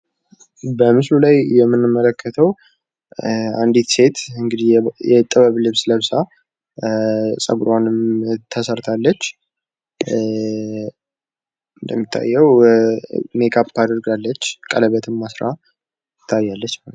በምስሉ ላይ የምንመለከተው አንዲት ሴት የጥበብ ልብስ ለብሳ፣ ጸጉሩዋንም ተሰርታለች፣ ሜካፕም አድርጋለች፣ ቀለበትም አስራ ትታያለች ማለት ነው።